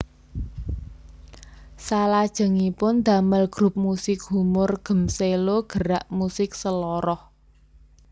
Salajengipun damel grup musik humor Gmselo Gerak Musik Seloroh